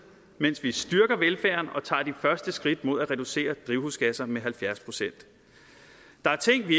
mens vi styrker velfærden og tager de første skridt mod at reducere drivhusgasserne med halvfjerds procent der er ting vi